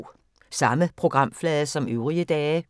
Samme programflade som øvrige dage